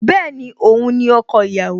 Bẹ́ẹ̀ni, Òun ni ọkọ ìyàwó